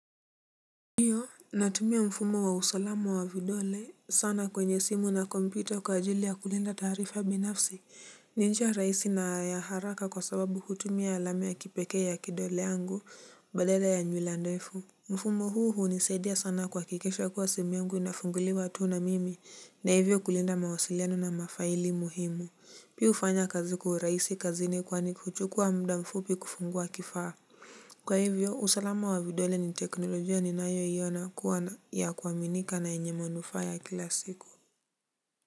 Natumia mfumo wa usalama wa vidole sana kwenye simu na computer kwa ajili ya kulinda taarifa binafsi. Ni njia rahisi na ya haraka kwa sababu hutumia alama ya kipekee ya kidole yangu badala ya nywila ndefu. Mfumo huu hunisaidia sana kuhakikisha kwa simu yangu inafunguliwa tu na mimi na hivyo kulinda mawasiliano na mafaili muhimu. Pia hufanya kazi kwa uraisi kazini kwani kuchukua mda mfupi kufungua kifaa. Kwa hivyo usalama wa vidole ni teknolojia ninayoiona kuwa na ya kuaminika na yenye manufaa ya kila siku.